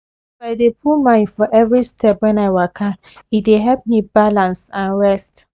as i dey put mind for every step when i waka e dey help me balance and rest